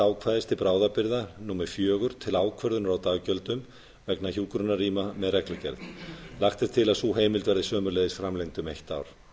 ákvæðis til bráðabirgða númer fjögur til ákvörðunar á daggjöldum vegna hjúkrunarrýma með reglugerð lagt er til að sú heimild verði sömuleiðis framlengd um eitt ár